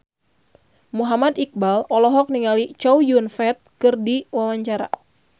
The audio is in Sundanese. Muhammad Iqbal olohok ningali Chow Yun Fat keur diwawancara